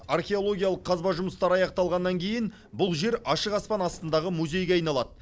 археологиялық қазба жұмыстары аяқталғаннан кейін бұл жер ашық аспан астындағы музейге айналады